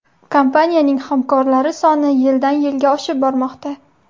Kompaniyani hamkorlari soni yildan yilga oshib bormoqda.